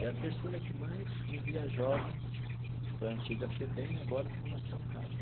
É a terceira que mais envia jovens para a antiga FEBEM e agora a Fundação Casa.